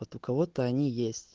вот у кого-то они есть